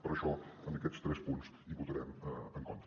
per això en aquests tres punts hi votarem en contra